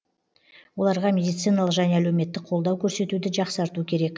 оларға медициналық және әлеуметтік қолдау көрсетуді жақсарту керек